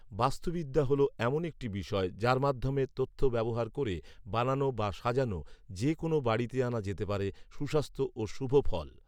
বাস্তুবিদ্যা হল এমন একটি বিষয়, যার মাধ্যমে পাওয়া তথ্য ব্যবহার করে বানানো বা সাজানো যে কোনও বাড়িতে আনা যেতে পারে সুস্বাস্থ্য ও শুভফল